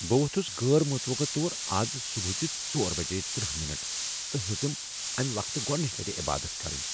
بہٕ ووٚتھس غٲر متوقع طور از صبحٲچہ ژۄر بجے تٔرہ منٹ تہٕ ہیٚژٕم اَمہ وقتہٕ گۄڈنچہ لٹہ عبادت كرِنۍ۔